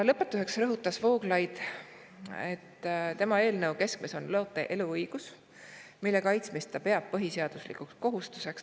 Lõpetuseks rõhutas Vooglaid, et tema eelnõu keskmes on loote eluõigus, mille kaitsmist ta peab põhiseaduslikuks kohustuseks.